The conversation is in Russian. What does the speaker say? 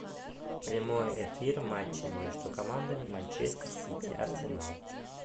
прямой эфир матча между командами манчестер сити арсенал